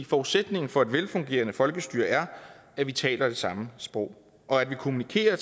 forudsætningen for et velfungerende folkestyre er at vi taler det samme sprog og kommunikerer